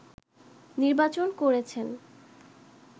নির্বাচন করেছেন